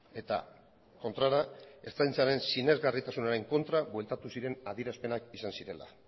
eta kontrara ertzaintzaren sinesgarritasunaren kontra bueltatu ziren adierazpenak izan zirela